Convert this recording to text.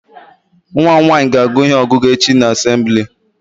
Nwa mụ nwaanyị ga agụ ihe ọgụgụ echi na assembli